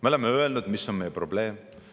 Me oleme öelnud, mis on meie probleem.